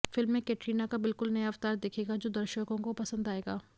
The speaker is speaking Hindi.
फिल्म में कैटरीना का बिल्कुल नया अवतार दिखेगा जो दर्शकों को पसंद आएगा